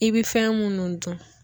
I bɛ fɛn munnu dun.